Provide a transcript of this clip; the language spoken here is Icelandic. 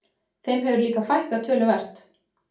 Þeim hefur líka fækkað töluvert